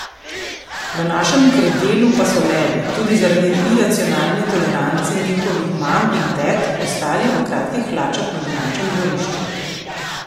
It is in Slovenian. V našem krdelu pa so levi, tudi zaradi iracionalne tolerance njihovih mam in tet, ostali v kratkih hlačah na domačem dvorišču.